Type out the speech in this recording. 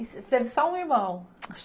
Você teve só um irmão?